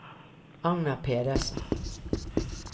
Agnar Pedersen